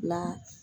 La